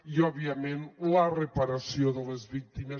i òbviament la reparació de les víctimes